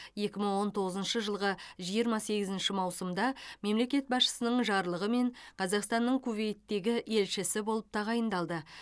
екі мың он тоғызыншы жылғы жиырма сегізінші маусымда мемлекет басшысының жарлығымен қазақстанның кувейттегі елшісі болып тағайындалды